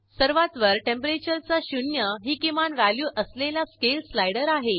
सर्वात वर Temperature चा शून्य ही किमान व्हॅल्यू असलेला स्केल स्लायडर आहे